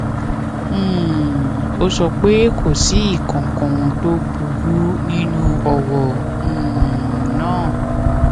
um ó sọ pé kò sí nǹkankan tó burú nínú ọrọ um náà